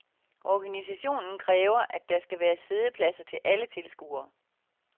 Organisationen kræver, at der skal være siddepladser til alle tilskuere.